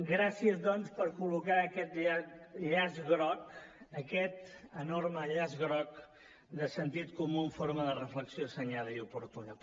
gràcies doncs per col·locar aquest llaç groc aquest enorme llaç groc de sentit comú en forma de reflexió assenyada i oportuna